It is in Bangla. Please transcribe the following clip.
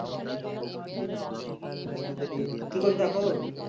হুম কি করছো তা এখন